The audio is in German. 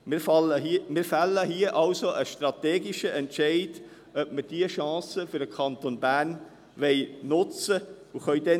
Wir fällen hier also einen strategischen Entscheid, ob wir diese Chance für den Kanton nutzen wollen.